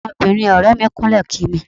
Ọmọbìnrin ọ̀rẹ́ẹ mi kúnlẹ̀ kí mi.